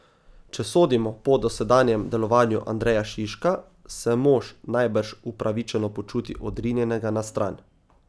Če sodimo po dosedanjem delovanju Andreja Šiška, se mož najbrž upravičeno počuti odrinjenega na stran.